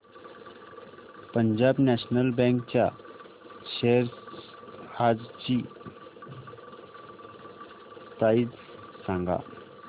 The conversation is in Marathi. पंजाब नॅशनल बँक च्या शेअर्स आजची प्राइस सांगा